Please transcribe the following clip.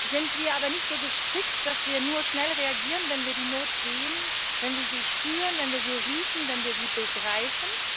Sind wir aber nicht so gestrickt, dass wir nur schnell reagieren, wenn wir die Not sehen, wenn wir sie spüren, wenn wir sie riechen, wenn wir sie begreifen?